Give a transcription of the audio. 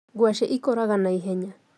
Ngwacĩ ikũraga na ihenya.